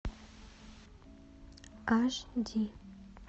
аш ди